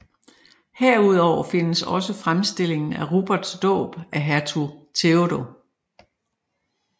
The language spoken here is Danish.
Herudover findes også fremstillingen af Ruperts dåb af hertug Theodo